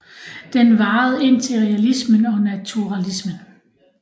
Den varede indtil realismen og naturalismen